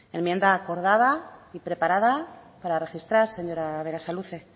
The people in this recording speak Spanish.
enmienda acordada y preparada para registrar señora berasaluze